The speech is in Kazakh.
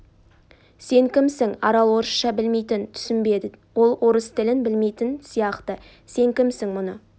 сен кімсің арал орысша білмейтін түсінбеді ол орыс тілін білмейтін сияқты сен кімсің мұны